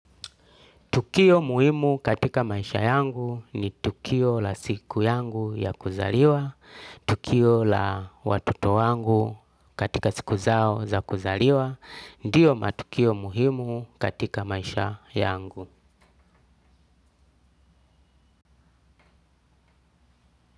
Tukio muhimu katika maisha yangu ni tukio la siku yangu ya kuzaliwa, tukio la watoto wangu katika siku zao za kuzaliwa niyo matukio muhimu katika maisha yangu.